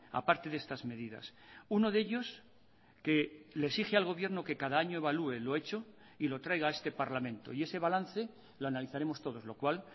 aparte de estas medidas uno de ellos que le exige al gobierno que cada año evalúe lo hecho y lo traiga a este parlamento y ese balance lo analizaremos todos lo cual